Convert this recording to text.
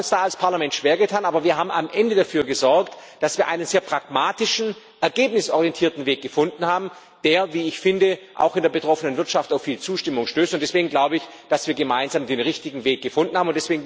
Wir haben uns da als Parlament schwer getan, aber wir haben am Ende dafür gesorgt, dass wir einen sehr pragmatischen, ergebnisorientierten Weg gefunden haben, der, wie ich finde, auch in der betroffenen Wirtschaft auf viel Zustimmung stößt. Deswegen glaube ich, dass wir gemeinsam den richtigen Weg gefunden haben.